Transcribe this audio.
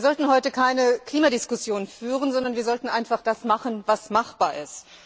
Wir sollten heute keine Klimadiskussion führen, sondern wir sollten einfach das machen, was machbar ist.